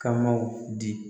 Ka maaw di